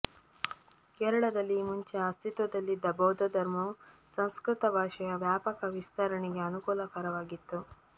ಕೇರಳದಲ್ಲಿ ಈ ಮುಂಚೆಯೆ ಅಸ್ತಿತ್ವದಲ್ಲಿದ್ದ ಬೌದ್ಧಧರ್ಮವು ಸಂಸ್ಕೃತ ಭಾಷೆಯ ವ್ಯಾಪಕ ವಿಸ್ತರಣೆಗೆ ಅನುಕೂಲಕರವಾಗಿತ್ತು